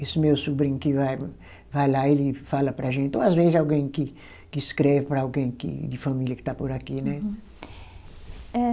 Esse meu sobrinho que vai, vai lá, ele fala para a gente, ou às vezes alguém que que escreve para alguém que de família que está por aqui né. Uhum, eh